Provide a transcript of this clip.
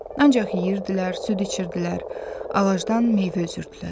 Ancaq yeyirdilər, süd içirdilər, ağacdan meyvə üzürdülər.